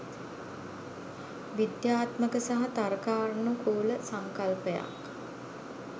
විද්‍යාත්මක සහ තර්කානුකූල සංකල්පයක්.